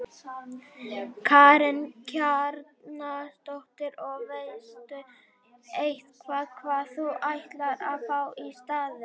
Karen Kjartansdóttir: Og veistu eitthvað hvað þú ætlar að fá í staðinn?